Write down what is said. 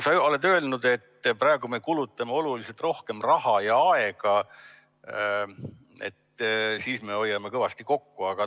Sa oled öelnud, et praegu me kulutame oluliselt rohkem raha ja aega ning varude keskusega me hoiame kõvasti kokku.